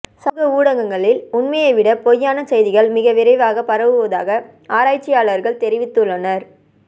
சமூக ஊடகங்களில் உண்மையைவிட பொய்யான செய்திகள் மிக விரைவாக பரவுவதாக ஆராய்ச்சியாளர்கள் தெரிவித்துள்ளனர்